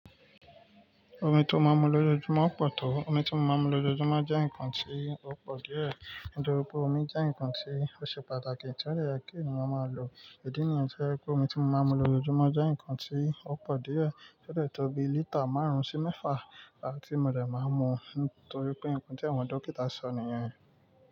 Omi tí ó máa ń mu lójoojúmọ́ pọ̀ tó? Omi tí mo máa ń mu lójoojúmọ́ jẹ́ nǹkan tí ó pọ̀ díẹ̀. Nitọ̀ri pe omi jẹ́ nǹkan tí ó ṣe pàtàkì tí ó de yẹ kí ènìyàn máa lò. Idí nìyen to j'epé omi tí mo máa ń mu lójoojúmọ́ jẹ́ nǹkan tí ó pọ̀ díẹ̀ to de tọ́bi lítà márùn-ún sí mẹ́fà la tí mo dẹ̀ máa ń mu torí pé nǹkan tí àwọn dókítà sọ nìyẹn.